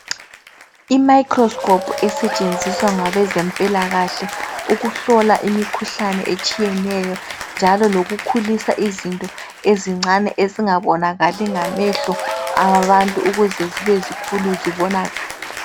Imayikrosikophu isetshenziswa ngabezempilakahle ukuhlola imikhuhlane etshiyeneyo njalo lokukhulisa izinto ezincane ezingabonakali ngamehlo abantu ukuze zibe zikhulu zibonakale.